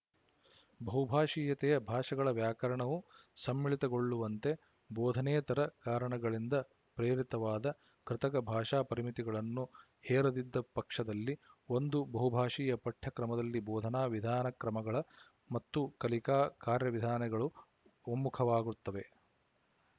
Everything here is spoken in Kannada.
ಬಹುಭಾಶೀಯತೆಯ ಭಾಷೆಗಳ ವ್ಯಾಕರಣವು ಸಮ್ಮಿಳಿತಗೊಳ್ಳುವಂತೆ ಬೋಧನೇತರ ಕಾರಣಗಳಿಂದ ಪ್ರೇರಿತವಾದ ಕೃತಕ ಭಾಷಾ ಪರಿಮಿತಿಗಳನ್ನು ಹೇರದಿದ್ದ ಪಕ್ಷದಲ್ಲಿ ಒಂದು ಬಹುಭಾಶೀಯ ಪಠ್ಯ ಕ್ರಮದಲ್ಲಿ ಬೋಧನಾ ವಿಧಾನಕ್ರಮಗಳ ಮತ್ತು ಕಲಿಕಾ ಕಾರ್ಯವಿಧಾನಗಳು ಒಮ್ಮುಖವಾಗುತ್ತವೆ